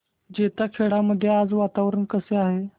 जैताखेडा मध्ये आज वातावरण कसे आहे